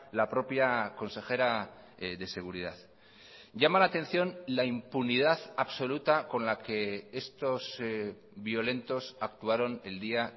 la propia consejera de seguridad llama la atención la impunidad absoluta con la que estos violentos actuaron el día